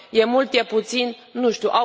E mult, e puțin, nu știu.